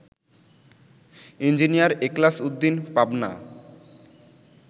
engineer Ekhlas Uddin, Pabna